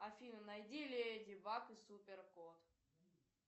афина найди леди баг и супер кот